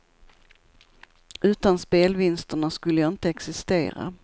Utan spelvinsterna skulle jag inte existera.